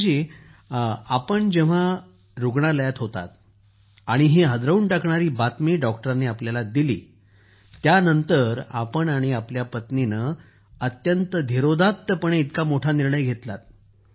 सुखबीर जी आपण जेव्हा रूग्णालयात असाल आणि हा हादरवून टाकणारी बातमी डॉक्टरानी आपल्याला दिली त्यानंतरही आपण आणि आपल्या पत्नीनं अत्यंत धीरोदात्तपणे इतका मोठा निर्णय घेतला